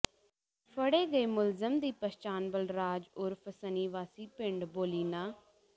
ਫੜੇ ਗਏ ਮੁਲਜ਼ਮ ਦੀ ਪਛਾਣ ਬਲਰਾਜ ਉਰਫ ਸੰਨੀ ਵਾਸੀ ਪਿੰਡ ਬੋਲੀਨਾ